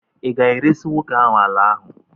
ị ga-eresị nwoke ahụ ala ahụ?